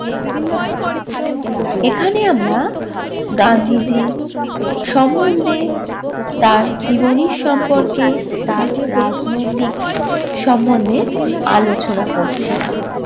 এখানে আমরা গান্ধীজির সমন্ধে তার জীবনীর সম্পর্কে তার রাজনৈতিক সম্বন্ধে আলোচনা করছিলাম।